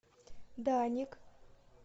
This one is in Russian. даник